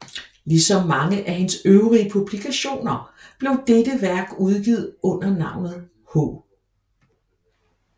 Ligesom mange af hendes øvrige publikationer blev dette værk udgivet under navnet H